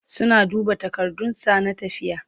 suna duba takardun sa na tafiya